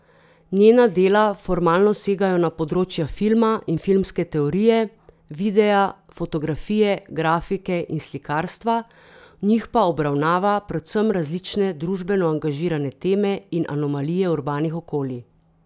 Njena dela formalno segajo na področja filma in filmske teorije, videa, fotografije, grafike in slikarstva, v njih pa obravnava predvsem različne družbeno angažirane teme in anomalije urbanih okolij.